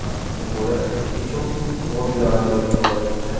আহ ওপরে কিছু বোর্ড লাগানো দেখতে পাওয়া যাচ্ছে ।